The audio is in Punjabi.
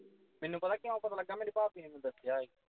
ਮੈਨੂੰ ਪਤਾ ਕਿਉਂ ਪਤਾ ਲੱਗਾ ਮੈਨੂੰ ਮੇਰੀ ਭਾਬੀ ਨੇ ਦੱਸਿਆ ਸੀ